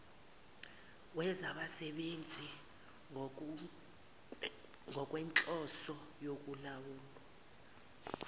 wezabasebenzi ngokwenhloso yokulawulwa